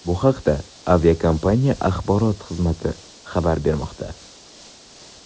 Bu haqda aviakompaniya axborot xizmati xabar bermoqda .